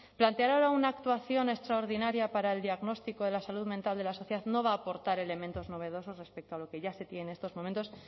plantear ahora una actuación extraordinaria para el diagnóstico de la salud mental de la sociedad no va a aportar elementos novedosos respecto a lo que ya se tiene en estos momentos